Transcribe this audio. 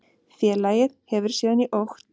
Félagið hefur síðan í okt